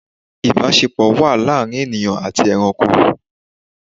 Ìbásepọ̀ wà láàrin ènìyàn àti eranko